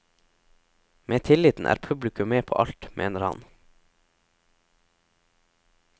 Med tilliten er publikum med på alt, mener han.